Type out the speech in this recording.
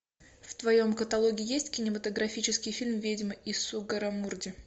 в твоем каталоге есть кинематографический фильм ведьмы из сугаррамурди